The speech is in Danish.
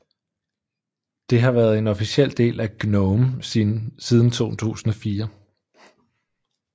Det har været en officiel del af GNOME siden 2004